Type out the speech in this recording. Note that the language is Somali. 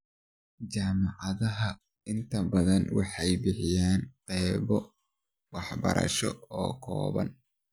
Jaamacadaha inta bathan waxay bixiyaan qaybo waxbarasho oo kooban.